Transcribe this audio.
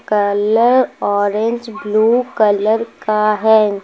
Orange blue colour का है।